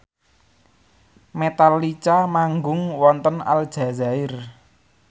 Metallica manggung wonten Aljazair